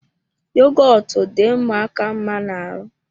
Yogọtu dị ụmụaka mma ná ahụ